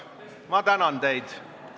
Ma tänan teid!